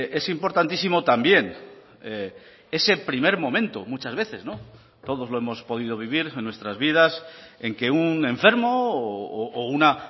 es importantísimo también ese primer momento muchas veces todos lo hemos podido vivir en nuestras vidas en que un enfermo o una